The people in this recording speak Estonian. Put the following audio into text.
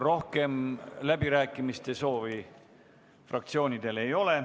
Rohkem läbirääkimiste soovi fraktsioonidel ei ole.